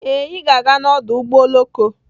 Ee, Ị ga-aga n'ọdụ ụgbọ oloko.